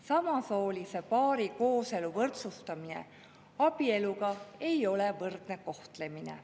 Samasoolise paari kooselu võrdsustamine abieluga ei ole võrdne kohtlemine.